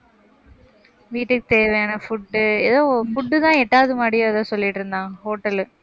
வீட்டுக்கு தேவையான food உ ஏதோ food தான் எட்டாவது மாடி ஏதோ சொல்லிட்டு இருந்தான் hotel லு